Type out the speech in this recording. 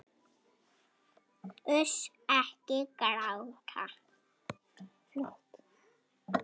Uss, ekki gráta.